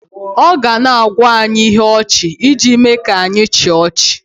ọ ga na-agwa anyị ihe ọchị iji mee ka anyị chịa ọchị